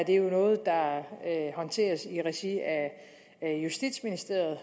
jo noget der håndteres i regi af justitsministeriet